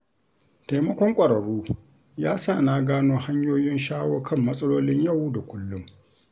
Taimakon ƙwararru ya sa na gano hanyoyin shawo kan matsalolin yau da kullum.